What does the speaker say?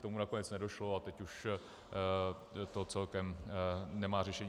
K tomu nakonec nedošlo a teď už to celkem nemá řešení.